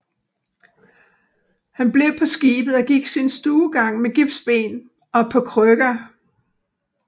Han blev på skibet og gik sin stuegang med gipsben og på krykker